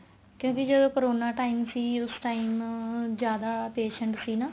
ਕਿਉਂਕਿ ਜਦੋਂ corona time ਸੀ ਉਸ time ਜਿਆਦਾ patient ਸੀ ਨਾ